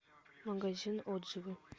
магазин отзывы